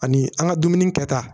Ani an ka dumuni kɛta